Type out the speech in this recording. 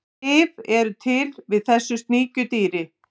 lyf eru til við þessu sníkjudýri